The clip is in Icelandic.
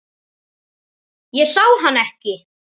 Ég sá hann ekki.